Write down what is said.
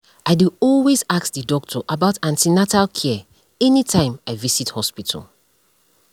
i dey always ask the doctor about an ten atal care anytym i visit hospital